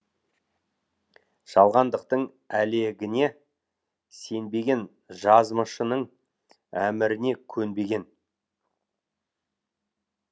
жалғандықтың әлегіне сенбеген жазмышының әміріне көнбеген